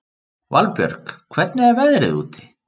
Valbjörg, hvernig er veðrið úti?